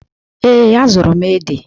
Ee, azụrụ m ede.